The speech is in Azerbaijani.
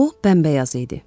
O bəmbəyaz idi.